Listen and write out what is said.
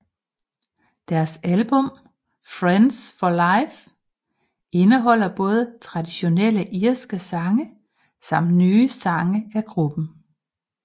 Deres album Friends for Life indeholder både traditionelle irske sange samt nye sang af gruppen